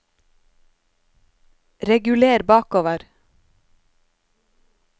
reguler bakover